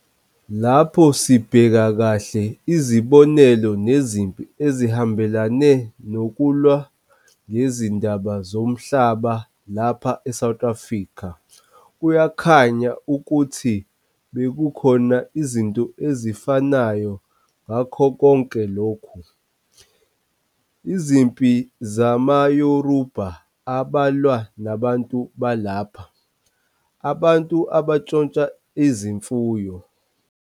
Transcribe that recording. Lapho sibheka kahle izibonelo nezimpi ezihambelane nokulwa ngezindaba zomhlaba lapha eSouth Africa kuyakhanya ukuthi bekukhona izinto ezifanayo ngakho konke lokhu- izimpi zamayoRubha abalwa nabantu balapha - abantu abantshontsha izimfuyo.